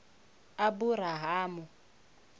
aburahamu